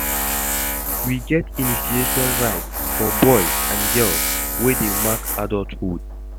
We get initiation rites for boys and girls, wey dey mark adulthood.